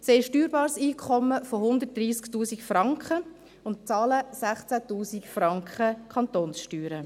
Sie haben ein steuerbares Einkommen von 130 000 Franken und bezahlen 16 000 Franken Kantonssteuern.